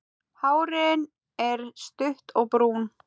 Hárin er stutt og brún.